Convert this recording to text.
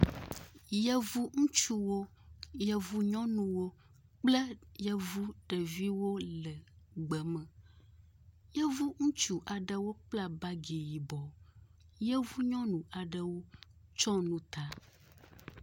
Yevu ŋutsuwo yevu nyɔnuwo kple yevu ɖeviwo le gbeme yevu ŋutsu aɖewo kpla bagi yibɔ yevu nyɔnu aɖewo tsɔnu ta